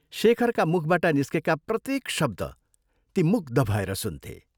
शेखरका मुखबाट निस्केका प्रत्येक शब्द ती मुग्ध भएर सुन्थे।